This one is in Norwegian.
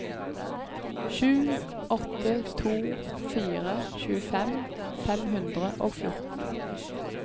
sju åtte to fire tjuefem fem hundre og fjorten